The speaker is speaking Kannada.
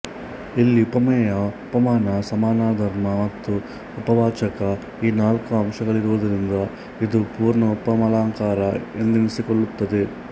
ಇಲ್ಲಿ ಉಪಮೇಯ ಉಪಮಾನ ಸಮಾನಧರ್ಮ ಮತ್ತು ಉಪಮಾವಾಚಕ ಈ ನಾಲ್ಕೂ ಅಂಶಗಳಿರುವುದರಿಂದ ಇದು ಪೂರ್ಣ ಉಪಮಾಲಂಕಾರ ಎಂದೆನ್ನಿಸಿಕೊಳ್ಳುತ್ತದೆ